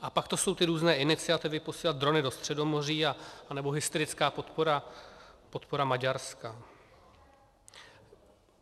A pak to jsou ty různé iniciativy, posílat drony do Středomoří nebo hysterická podpora Maďarska.